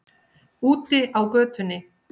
Úti á götunni.